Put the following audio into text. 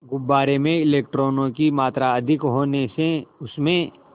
गुब्बारे में इलेक्ट्रॉनों की मात्रा अधिक होने से उसमें